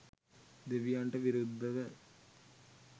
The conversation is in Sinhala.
දෙවියන්ට විරුද්ධව